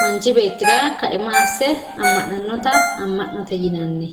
manchi betira kaima ase amananotta amonote yinanni